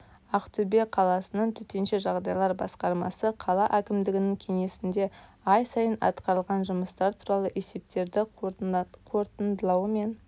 ақтөбе қаласының төтенше жағдайлар басқармасы қала әкімдігінің кеңесінде ай сайын атқарылған жұмыстар туралы есептерді қорытындылауымен